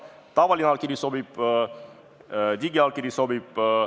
Tavaline allkiri sobib, digiallkiri sobib.